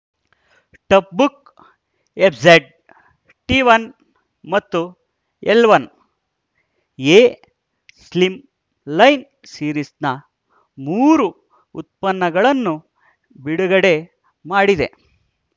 tough book F Z T one ಮತ್ತು L one A slimline ಸೀರಿಸ್‌ನ ಮೂರು ಉತ್ಪನ್ನಗಳನ್ನು ಬಿಡುಗಡೆ ಮಾಡಿದೆ